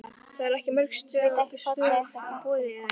Erla: Það eru ekki mörg störf í boði eða hvað?